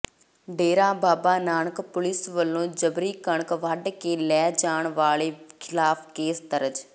ਡੇਰਾ Baba Nanak police ਵੱਲੋਂ ਜਬਰੀ ਕਣਕ ਵੱਢ ਕੇ ਲੈ ਜਾਣ ਵਾਲੇ ਖਿਲਾਫ ਕੇਸ ਦਰਜ